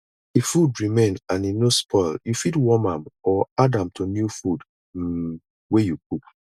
if food remain and e no spoil you fit warn am or add am to new food um wey you cook